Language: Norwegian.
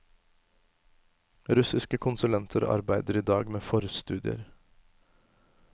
Russiske konsulenter arbeider i dag med forstudier.